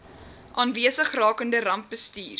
aanwesig rakende rampbestuur